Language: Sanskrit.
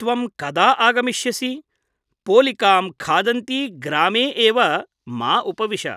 त्वं कदा आगमिष्यसि ? पोलिकां खादन्ती ग्रामे एव मा उपविश ।